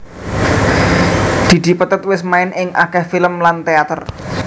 Didi Petet wis main ing akèh film lan téater